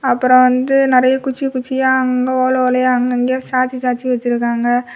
அப்புறம் வந்து நிறைய குச்சி குச்சியாஅங்க ஓல ஓலையா அங்கங்கயா சாச்சி சாச்சி வச்சுருக்காங்க.